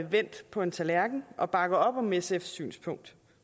vendt på en tallerken og bakker op om sfs synspunkt